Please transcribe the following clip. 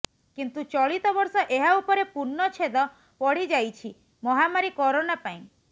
କିନ୍ତୁ ଚଳିତ ବର୍ଷ ଏହା ଉପରେ ପୁର୍ଣ୍ଣଛେଦ ପଡ଼ିଯାଇଛି ମହାମାରୀ କରୋନା ପାଇଁ